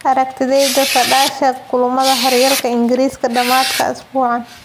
Aragtidayda: Saadaasha kulamada hooryalka ingriska dhamadka isbuucan.